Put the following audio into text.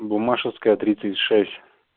буммашевская тридцать шесть